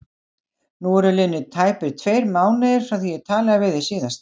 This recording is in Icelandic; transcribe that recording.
Nú eru liðnir tæpir tveir mánuðir frá því ég talaði við þig síðast.